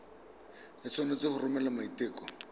o tshwanetse go romela maiteko